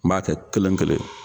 N m'a kɛ kelen kelen